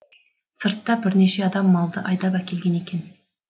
сыртта бірнеше адам малды айдап әкелген екен